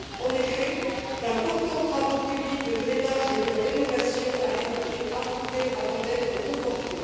En effet, d'importants travaux publics de drainage et de rénovation avaient été approuvés avant d'être reportés.